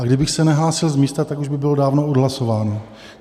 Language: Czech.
A kdybych se nehlásil z místa, tak už by bylo dávno odhlasováno.